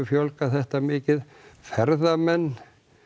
fjölgað þetta mikið ferðamenn